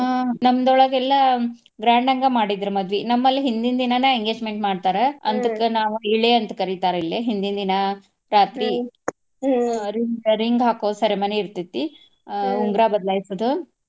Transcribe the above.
ಆಹ್ ನಮ್ದ್ರೋಳಗ ಎಲ್ಲಾ grand ಅಂಗ ಮಾಡಿದ್ರ ಮದ್ವಿ. ನಮ್ಮ್ ಲ್ಲಿ ಹಿಂದಿಂದ್ ದಿನಾನ engagement ಮಾಡ್ತಾರ ಅದಕ್ಕ ನಾವು ಇಳೆ ಅಂತ ಕರಿತಾರ ಇಲ್ಲೆ. ಹಿಂದಿನ ದಿನಾ ರಾತ್ರಿ ಆ ring ಹಾಕೋ ceremony ಇರ್ತೆತಿ. ಆಹ್ ಉಂಗರಾ ಬದಲಾಯ್ಸೊದು.